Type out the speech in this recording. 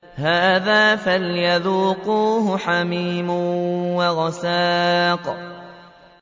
هَٰذَا فَلْيَذُوقُوهُ حَمِيمٌ وَغَسَّاقٌ